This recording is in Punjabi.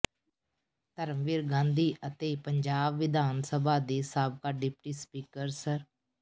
ਧਰਮਵੀਰ ਗਾਂਧੀ ਅਤੇ ਪੰਜਾਬ ਵਿਧਾਨਸਭਾ ਦੇ ਸਾਬਕਾ ਡਿਪਟੀ ਸਪੀਕਰ ਸ੍ਰ